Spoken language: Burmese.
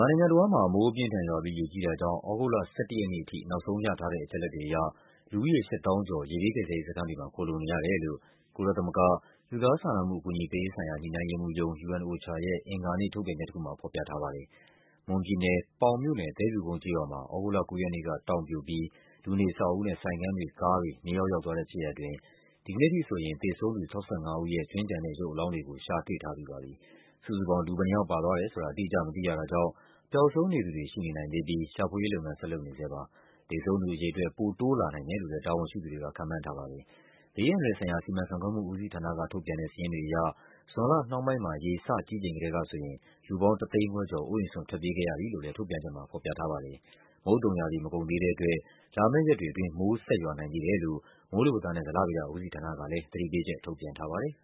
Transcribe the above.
ာနိုင်ငံတဝန်းမှာ မိုးအပြင်းအထန်ရွာပြီး ရေကြီးတာကြောင့် သြဂုတ်လ ၁၁ ရက်နေ့အထိ နောက်ဆုံးရထားတဲ့ အချက်အလက်တွေအရ လူဦးရေ ၈၀,၀၀၀ ကျော် ရေဘေးကယ်ဆယ်ရေး စခန်းတွေမှာ ခိုလှုံနေရတယ်လို့ ကုလသမဂ္ဂ၊ လူသား စာနာမှုအကူအညီပေးရေးဆိုင်ရာ ညှိနှိုင်းရေးမှူးရုံး ရဲ့ အင်္ဂါနေ့ ထုတ်ပြန်ချက်တခုမှာ ဖော်ပြထားပါတယ်။ မွန်ပြည်နယ်၊ ပေါင်မြို့နယ်၊ သဲဖြူကုန်းကျေးရွာမှာ သြဂုတ်လ ၉ ရက်နေ့က တောင်ပြိုပြီး လူနေအဆောက်အဦး နဲ့ ဆိုင်ခန်းတွေ၊ ကားတွေ မြေအောက်ရောက်သွားတဲ့ ဖြစ်ရပ်အတွင်း ဒီကနေ့ထိဆိုရင် သေဆုံးသူ ၆၅ ဦးရဲ့ ကြွင်းကျန်တဲ့ ရုပ်အလောင်းတွေကို ရှာတွေ့ထားပြီးပါပြီ။ စုစုပေါင်း လူဘယ်နှယောက် ပါသွားတယ်ဆိုတာ အတိအကျ မသိရတာကြောင့် ပျောက်ဆုံးနေသူတွေ ရှိနေ နိုင်သေးပြီး ရှာဖွေရေးလုပ်ငန်းကို ဆက်လုပ်နေဆဲပါ။ သေဆုံးသူအရေအတွက် ပိုတိုးလာ နိုင်တယ်လို့လည်း တာဝန်ရှိသူတွေက ခန့်မှန်းထားပါတယ်။ ဘေးအန္တရာယ်ဆိုင်ရာ စီမံခန့်ခွဲမှုဦးစီးဌာနကထုတ်ပြန်တဲ့ စာရင်းတွေအရ ဇွန်လနှောင်းပိုင်းမှာ ရေစကြီးချိန်ကတည်းကဆိုရင် လူ ပေါင်း ၁ သိန်းခွဲကျော် အိုးအိမ်စွန့်ထွက်ပြေးခဲ့ရတယ်လို့လည်း ထုတ်ပြန်ချက်မှာ ဖော်ပြထားပါတယ်။ မုတ်သုံရာသီ မကုန်သေးတဲ့အတွက် လာမယ့်ရက်တွေအတွင်း မိုးဆက်ရွာနိုင်သေးတယ်လို့ မိုးလေဝသနဲ့ ဇလဗေဒဦးစီးဌာနကလည်း သတိပေးချက် ထုတ်ပြန်ထားပါတယ်